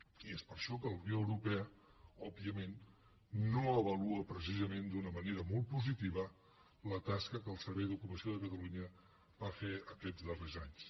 i és per això que la unió europea òbviament no avalua precisament d’una manera molt positiva la tasca que el servei d’ocupació de catalunya va fer aquests darrers anys